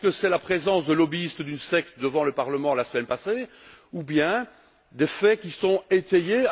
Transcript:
Est ce que c'est la présence de lobbyistes d'une secte devant le Parlement la semaine passée ou bien des faits qui sont étayés?